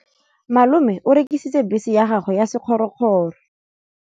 Malome o rekisitse bese ya gagwe ya sekgorokgoro.